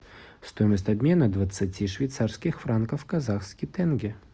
стоимость обмена двадцати швейцарских франков в казахский тенге